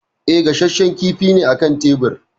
E, gashashshen kifi ne a kan tebir.